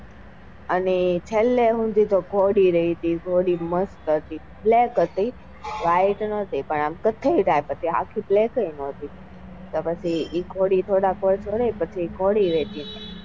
અને છેલ્લે સુધી તો ઘોડી રાઈ તી ઘોડી મસ્ત હતી black હતી white નાતી કથ્હાઈ dark હતી આખી black નતી તો પછી એ ઘોડી થોડા વર્ષો રાઈ પછી એ ઘોડી વેચી નાખી.